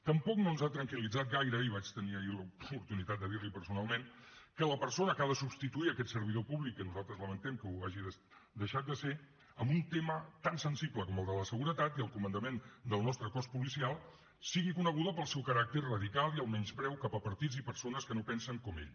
tampoc no ens ha tranquil·litzat gaire i vaig tenir ahir l’oportunitat de dir l’hi personalment que la persona que ha de substituir aquest servidor públic que nosaltres lamentem que ho hagi deixat de ser en un tema tan sensible com el de la seguretat i el comandament del nostre cos policial sigui coneguda pel seu caràcter radical i el menyspreu cap a partits i persones que no pensen com ell